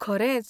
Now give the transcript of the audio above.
खरेंच.